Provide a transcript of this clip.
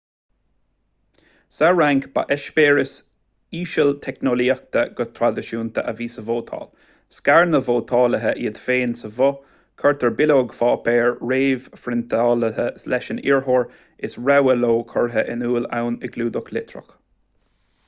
sa fhrainc ba eispéireas ísealteicneolaíochta go traidisiúnta a bhí sa vótáil scair na vótálaithe iad féin sa bhoth cuirtear bileog páipéir réamhphriontáilte leis an iarrthóir is rogha leo curtha in iúl ann i gclúdach litreach